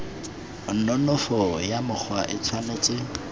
nonofo ya mokgwa e tshwanetse